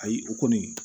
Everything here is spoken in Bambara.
Ayi o kɔni